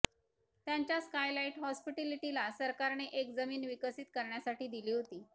त्यांच्या स्कायलाइट हॉस्पिटॅलिटीला सरकारने एक जमीन विकसित करण्यासाठी दिली होती